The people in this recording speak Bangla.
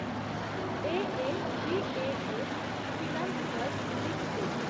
A A V A S financiers limited